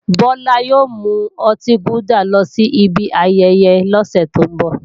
Bọlá ò mú ọtí gúdà lọ sí ibi ayẹyẹ lọ́sẹ̀ tó ń bọ̀